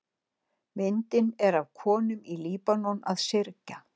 Myndin er af konum í Líbanon að syrgja.